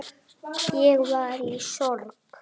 Ég var í sorg.